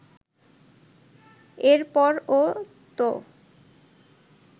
এরপর ও তো